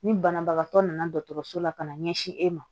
Ni banabagatɔ nana dɔgɔtɔrɔso la ka na ɲɛsin e ma